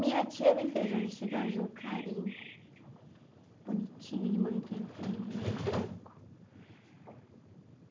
Minha tia me fez um vestido azul clarinho, bonitinho, de manguinha, eu falei, mãe, é branco.